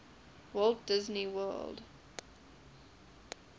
walt disney world